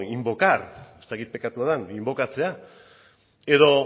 invocar ez dakit bekatua den inbokatzea edo